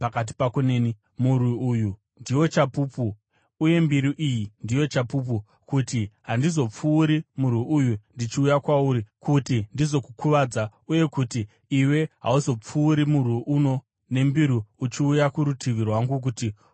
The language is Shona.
Murwi uyu ndiwo chapupu uye mbiru iyi ndiyo chapupu, kuti handizopfuuri murwi uno ndichiuya kwauri kuti ndizokukuvadza uye kuti iwe hauzopfuuri murwi uno nembiru uchiuya kurutivi rwangu kuti uzondikuvadza.